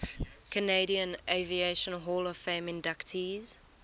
canadian aviation hall of fame inductees